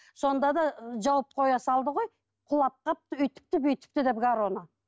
сонда да жауып қоя салды ғой құлап қалыпты өйтіпті бүйтіпті деп гороно